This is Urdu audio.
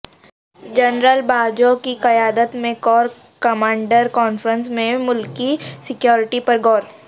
جنرل باجوہ کی قیادت میں کور کمانڈرز کانفرنس میں ملکی سیکیورٹی پر غور